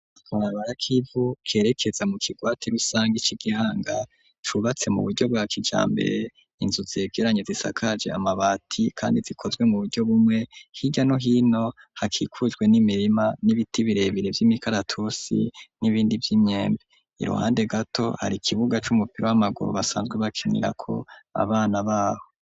Akabarabara kivu kerekeza mu kigwati rusange ci Gihanga cubatse mu buryo bwa kijambere. Inzu zegeranye zisakaje amabati kandi zikozwe muburyo bumwe. Hirya no hino hakikujwe n'imirima n'ibiti birebire vy'imikaratusi n'ibindi vy'imyembe iruhande gato hari ikibuga c'umupira w'amaguru basanzwe bakenera ko abana baho.